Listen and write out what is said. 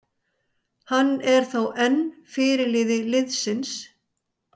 Hann er þó enn fyrirliði liðsins.